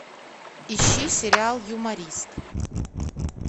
ищи сериал юморист